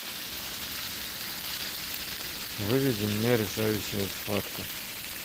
выведи мне решающая схватка